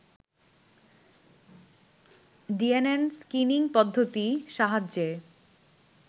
DNN screening পদ্ধতির সাহায্যে